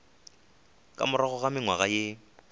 ka morago ga mengwaga ye